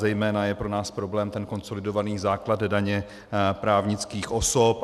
Zejména je pro nás problém ten konsolidovaný základ daně právnických osob.